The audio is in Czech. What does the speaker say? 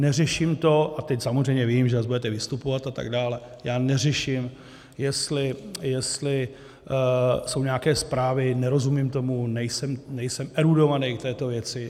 Neřeším to - a teď samozřejmě vím, že zase budete vystupovat a tak dále - já neřeším, jestli jsou nějaké zprávy, nerozumím tomu, nejsem erudovaný k této věci.